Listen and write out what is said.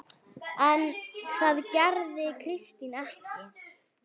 En það gerði Kristín ekki.